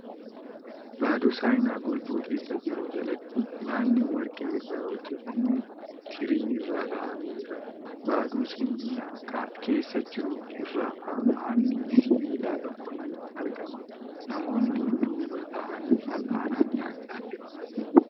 Baaduu saayinaa golboo keessa jiru jalatti nyaanni warqee irraa hojjatame tirii irra kaa'amee jira .Baaduu saayina keessa jiru irra fal'aanni sibiilaa tokko ni argama . Namoonni duuba taa'anii fal'aanaan nyaachaa jiru .